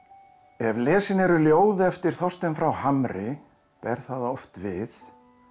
ef lesin eru ljóð eftir Þorstein frá Hamri ber það oft við